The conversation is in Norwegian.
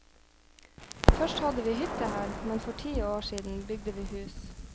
Først hadde vi hytte her, men for ti år siden bygde vi hus.